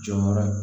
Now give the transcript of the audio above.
Jɔyɔrɔ ye